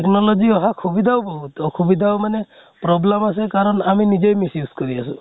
technology অহা সুবিধা বহুত অসুবিধাও মানে problem আছে কাৰণ আমি নিজে miss use কৰি আছো।